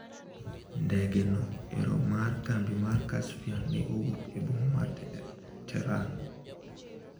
Ndege no ero mar kambi mar Caspian ne owuok e boma mar Tehran.